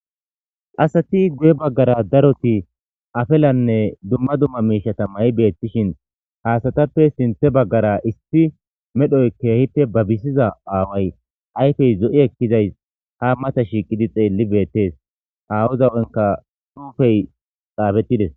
Asati Guyen Baggara Daroti Afalanne Dumma Dumma Miishata May Betishin Ha Asatappe Sinthhe Baggara Issi Medhoy Keehippe Babisida Away Ayfe Zo'i Ekizay Ha Mata Shiqi Xeeli Beetes Awaza Huphekka Xuufe Xaafetides